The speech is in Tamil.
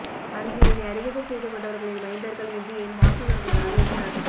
அன்று என்னை அறிமுகம் செய்துகொண்டவர்களின் மைந்தர்கள் இன்று என் வாசகர்களாக இருக்கிறார்கள்